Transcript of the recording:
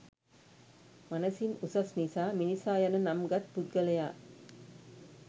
මනසින් උසස් නිසා මිනිසා යන නම්ගත් පුද්ගලයා